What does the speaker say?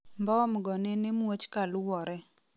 mbom go nene muoch kaluwore